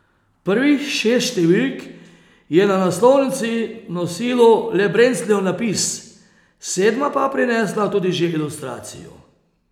Prvih šest številk je na naslovnici nosilo le Brencljev napis, sedma pa je prinesla tudi že ilustracijo.